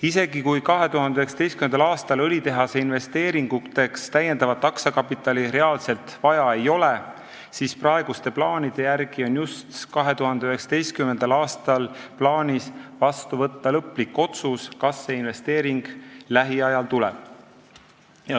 Isegi kui 2019. aastal õlitehase investeeringuteks täiendavat aktsiakapitali reaalselt vaja ei ole, siis praeguste plaanide järgi on just 2019. aastal plaanis vastu võtta lõplik otsus, kas see investeering lähiajal tuleb.